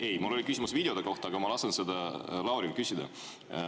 Ei, mul oli küsimus videote kohta, aga ma lasen seda Lauril küsida.